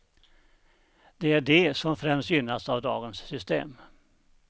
Det är de som främst gynnas av dagens system.